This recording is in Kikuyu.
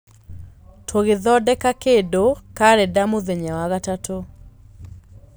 tũgĩthondeka kĩndũ karenda mũthenya wa gatatũ.